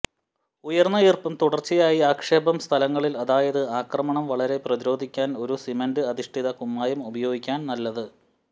ഉയർന്ന ഈർപ്പം തുടർച്ചയായി ആക്ഷേപം സ്ഥലങ്ങളിൽ അതായത് ആക്രമണം വളരെ പ്രതിരോധിക്കാൻ ഒരു സിമന്റ് അധിഷ്ഠിത കുമ്മായം ഉപയോഗിക്കാൻ നല്ലത്